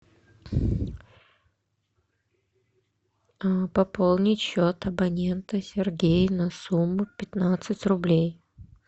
пополнить счет абонента сергей на сумму пятнадцать рублей